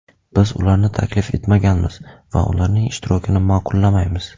Biz ularni taklif etmaganmiz va ularning ishtirokini ma’qullamaymiz.